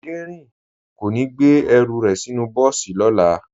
Dẹrín kò ní gbé ẹrù rẹ̀ sínú bọ́ọ̀sì lọ́la